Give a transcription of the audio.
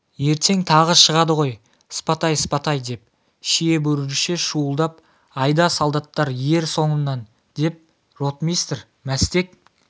ертең тағы шығады ғой спатай спатай деп шиебөріше шуылдап айда солдаттар ер соңымнан деп ротмистр мәстек